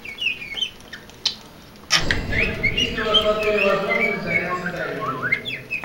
ассистент есть ли у вас в отеле возможность заняться дайвингом